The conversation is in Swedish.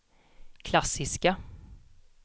klassiska